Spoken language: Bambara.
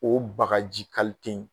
O bagaji in